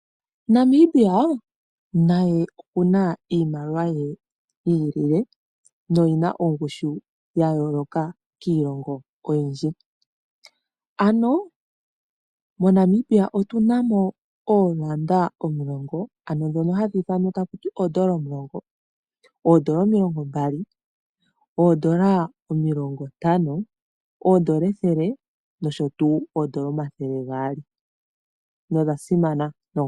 Namibia naye oku na iimaliwa ye yi ilile noyi na ongushu ya yooloka kiilongo oyindji. MoNamibia otu na mo oodola omulongo, oodola omilongombali, oodola omilongontano, oodola ethele noshowo oodola omathele gaali. Nodha simana noonkondo.